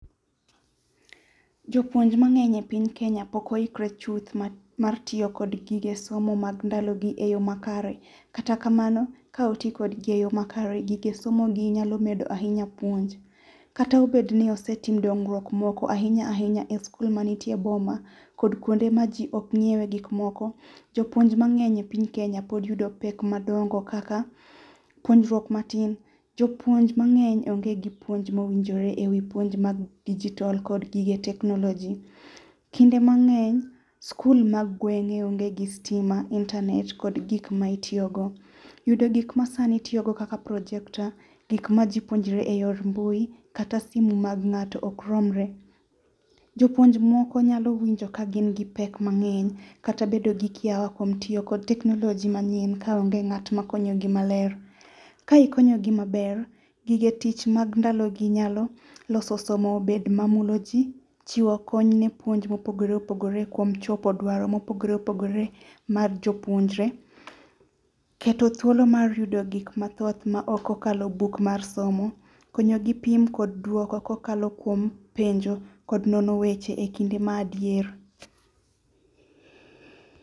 Jopuonj mang'eny epiny kenya pok oikre chuth mar tiyo gi kod gige somo mag nadalogi eyo makare. Kata kamano ka oti godgi eyo makare gige somogi nyalo medo ahinya puonj. Kata obedni osetim dongruok moko ahinya ahinya eskul manitie e boma kod kuonde maji ok nyiewe gik moko jopuonj mang'eny epiny kenya pod yudo pek madongo kaka puonjruok matin jopuonj mang'eny onge gi puonj mowinjore ewi puonj mag digital kod gige teknoloji. Kinde mang'eny skul mag gweng'e onge gi stima ,internet kod gik ma itiyogo. Yudo gik masani itiyogo kaka projector gik ma ji puonjre eyor mbui kata simu mag ng'ato ok romre. jopuonj moko nyalo winjo kagin gi pek mang'eny kata bedo gi kia oko tiyo kod teknoloji manyien kaonge ng'at makonyogi maler. Ka ikonyogi maber, gige tich mag ndalogi nyalo loso somo bed mamuloji chiwo konyne puonj mopogore opogore kuom chopo dwaro mopogore opogore mag jopuonjre. Keto thuolo mar yudo gik mathoth maok okalo buk mar somo. Konyogi pim kodo duoko kokalo kuom penjo kod nono weche ekinde madier.